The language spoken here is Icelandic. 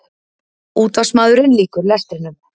Útvarpsmaðurinn lýkur lestrinum.